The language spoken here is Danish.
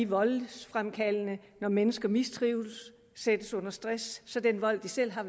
voldsfremkaldende når mennesker mistrives sættes under stress så den vold de selv har